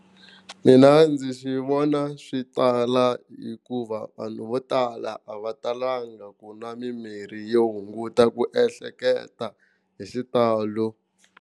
Mina ndzi swi vona swi tala hikuva vanhu vo tala a va talanga ku nwa mimirhi yo hunguta ku ehleketa hi xitalo.